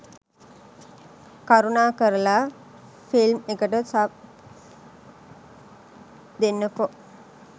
කරුණාකරලා ෆිල්ම් එකට සබ් දෙන්නකෝ